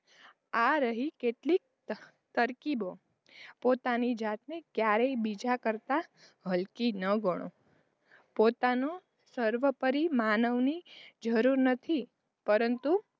આ રહી કેટલી તરકીબો પોતાની જાતને ક્યારેય બીજા કરતાં હલકીનાં ગણો પોતાનું સર્વોપરી માનવની જરુર નથી. પરંતુ,